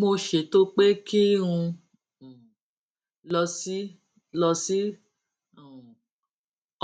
mo ṣètò pé kí n um lọ sí lọ sí um